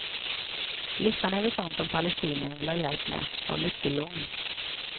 Listan över sådant som palestinierna vill ha hjälp med var mycket lång.